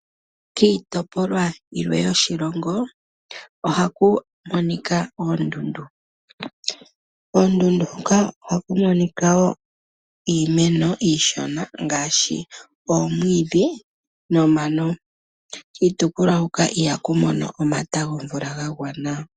Kiitopolwa yimwe yoshilongo oha ku monika oondundu, ondundu hoka oha ku monika woo iimeno iishona ngaashi omwiidhi nomano. Kiitopolwa hoka iha ku mono omata gomvula ga gwana.